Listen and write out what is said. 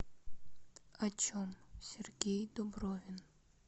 о чем сергей дубровин